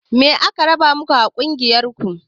Me ake raba maku a ƙungiyar ku?